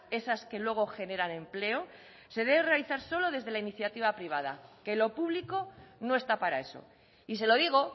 esas que luego generan empleo se debe realizar solo desde la iniciativa privada que lo público no está para eso y se lo digo